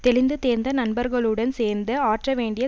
தெளிந்து தேர்ந்த நண்பர்களுடன் சேர்ந்து ஆற்ற வேண்டிய